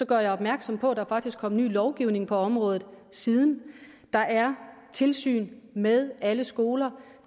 gør opmærksom på at der faktisk er kommet ny lovgivning på området siden der er tilsyn med alle skoler